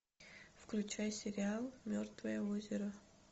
включай сериал мертвое озеро